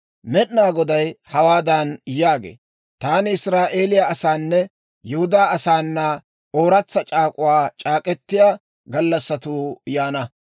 Med'inaa Goday hawaadan yaagee; «Taani Israa'eeliyaa asaananne Yihudaa asaana ooratsa c'aak'uwaa c'aak'k'etiyaa gallassatuu yaana.